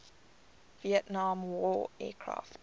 vietnam war aircraft